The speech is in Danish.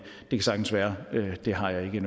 kan sagtens være det har jeg